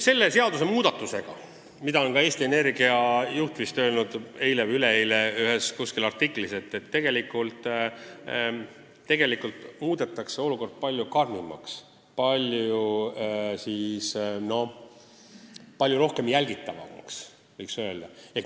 Selle seadusmuudatusega muudetakse olukord palju karmimaks, palju rohkem jälgitavamaks, nagu kinnitas ka Eesti Energia juht eile või üleeile kuskil artiklis.